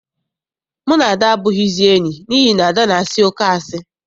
Mụ na Ada abụghịzi enyi n'ihi na Ada na-asị oké asị.